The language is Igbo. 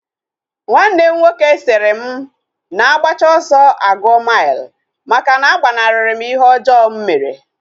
Nwanne m nwoke sịrị m na agbacha ọsọ aguo mile, maka na agbanari m ihe ọjọọ mụ mere